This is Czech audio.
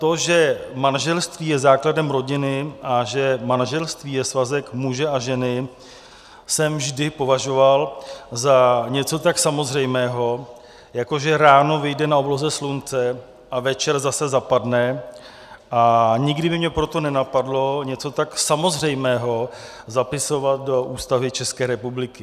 To, že manželství je základem rodiny a že manželství je svazek muže a ženy, jsem vždy považoval za něco tak samozřejmého, jako že ráno vyjde na obloze slunce a večer zase zapadne, a nikdy by mě proto nenapadlo něco tak samozřejmého zapisovat do Ústavy České republiky.